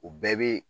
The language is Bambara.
O bɛɛ bɛ